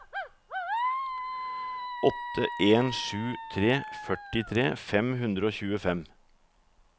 åtte en sju tre førtitre fem hundre og tjuefem